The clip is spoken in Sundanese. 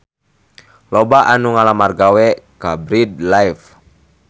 Loba anu ngalamar gawe ka Bread Life